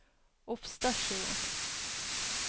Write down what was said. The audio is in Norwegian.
Ofstadsjøen